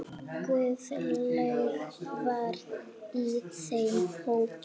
Öndum léttar.